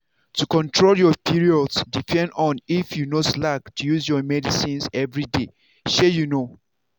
to control your period depend on if you no slack to use your medicines everyday. shey you know!